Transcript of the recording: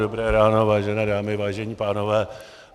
Dobré ráno, vážené dámy, vážení pánové.